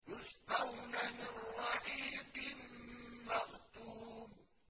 يُسْقَوْنَ مِن رَّحِيقٍ مَّخْتُومٍ